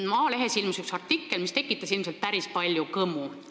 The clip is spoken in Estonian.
Maalehes ilmus üks artikkel, mis tekitas ilmselt päris palju kõmu.